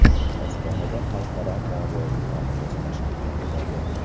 Ostonada xalqaro moliyaviy markaz tashkil etiladi.